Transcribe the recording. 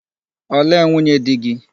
Olee nwunye di gị?